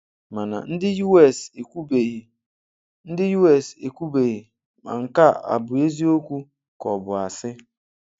Mana ndị US ekwubeghị ndị US ekwubeghị ma nke a abụ eziokwu ka ọ bụ asị.